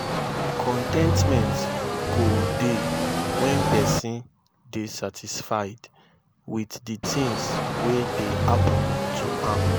con ten tment go dey wen pesin dey satisfied wit di tins wey dey happen to am